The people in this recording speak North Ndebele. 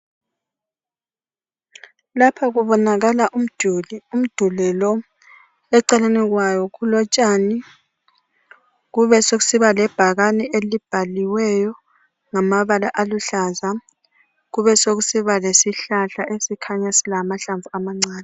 Lapha kubonakala umduli, umduli lo eceleni kwawo kulotshani besokusiba lebhakani elibhaliweyo ngamabala aluhlaza. Kubesokusiba lesihlahla esikhanya silamahlamvu amancane.